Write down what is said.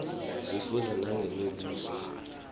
sifundza nangemibuso